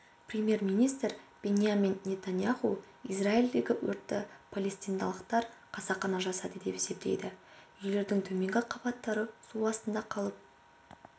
премьер-министр биньямин нетаньяху израильдегі өртті палестиналықтар қасақана жасады деп есептейді үйлердің төменгі қабаттары су астында қалып